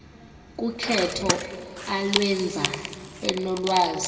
kukhetho alwenza enolwazi